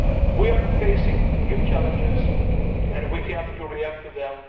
We are facing new challenges and we have to react to them.